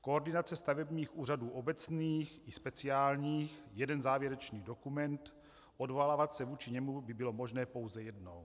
Koordinace stavebních úřadů obecných i speciálních, jeden závěrečný dokument, odvolávat se vůči němu by bylo možné pouze jednou.